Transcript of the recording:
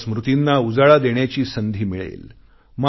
त्यांच्या स्मृतींना उजाळा देण्याची संधी मिळेल